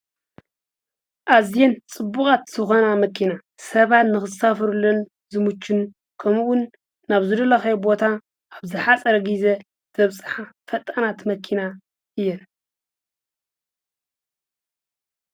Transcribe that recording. ኣዝየን ፅቡቃት ዝኾና መኪና ሰባት ንዝሳፈሩለን ዝምቹን ከምኡ እውን ናብ ዝደለኻዮ ቦታ ኣብ ዝሓፀረ ግዜ ዘብፃሓ ፈጣናት መኪና እየን።